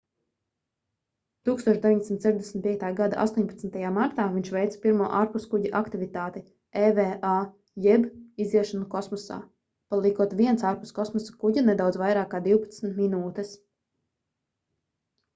1965. gada 18. martā viņš veica pirmo ārpuskuģa aktivitāti eva jeb iziešanu kosmosā paliekot viens ārpus kosmosa kuģa nedaudz vairāk kā divpadsmit minūtes